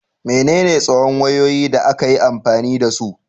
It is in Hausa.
Menene tsawon wayoyi da aka yi amfani da su?